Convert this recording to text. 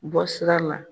Bɔ sira la